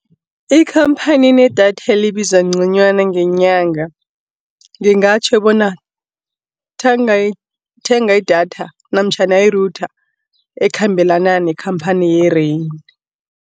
Ikhamphani enedatha elibiza ngconywana ngenyanga, ngingatjho bona thenga idatha namtjhana i-router ekhambelana nekhamphani ye-Rain.